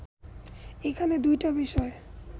এখানে দুইটা বিষয়